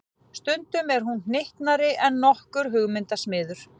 Stundum er hún hnyttnari en nokkur hugmyndasmiður.